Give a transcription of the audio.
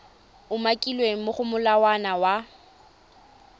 umakilweng mo go molawana wa